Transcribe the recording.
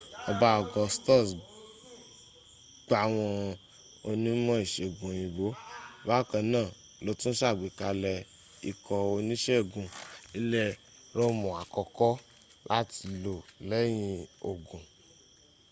ọba augustus gbàwọn onímọ̀ ìsègùn òyìnbó bakanáà lótún sàgbékalẹ̀ ikọ̀ onísègùn ilẹ̀ róòmùn àkọ́kọ́ láti lò lẹ́yìn ogun